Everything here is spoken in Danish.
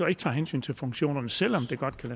ikke tage hensyn til funktionerne selv om det godt